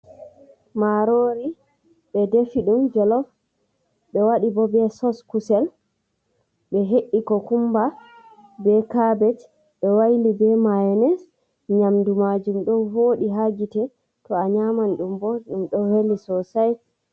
Marori ɓe defi ɗum jelov be wadi bo be SOS kusel, ɓe he’i ko kumba, be cabej ɓe waili be mynes. Nyamdu majum ɗo woɗi hagite to a nyaman ɗum bo ɗum ɗo weli sosai.